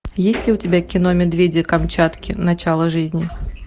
есть ли у тебя кино медведи камчатки начало жизни